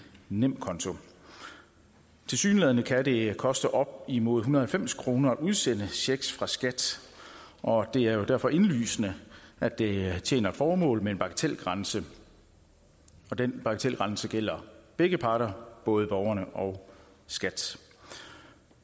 nemkonto tilsyneladende kan det koste op imod en hundrede og halvfems kroner at udsende checks fra skat og det er derfor indlysende at det tjener et formål med en bagatelgrænse den bagatelgrænse gælder begge parter både borgerne og skat